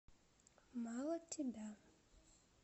мало тебя